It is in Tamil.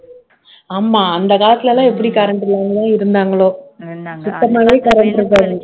ஆமா அந்த காலத்துல எல்லாம் எப்படி current இல்லாம இருந்தாங்களோ